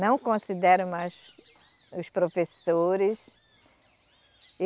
Não consideram mais os professores.